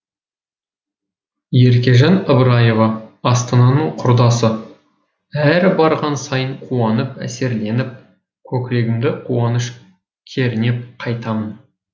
еркежан ыбыраева астананың құрдасы әр барған сайын қуанып әсерленіп көкірегімді қуаныш кернеп қайтамын